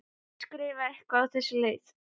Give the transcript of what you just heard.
Hún skrifar eitthvað á þessa leið: